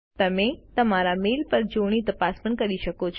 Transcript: તમે તમારા મેઇલ પર જોડણી તપાસ પણ કરી શકો છો